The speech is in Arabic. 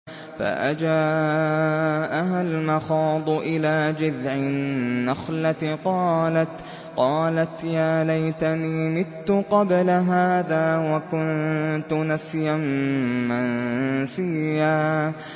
فَأَجَاءَهَا الْمَخَاضُ إِلَىٰ جِذْعِ النَّخْلَةِ قَالَتْ يَا لَيْتَنِي مِتُّ قَبْلَ هَٰذَا وَكُنتُ نَسْيًا مَّنسِيًّا